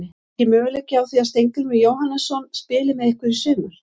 Er ekki möguleiki á því að Steingrímur Jóhannesson spili með ykkur í sumar?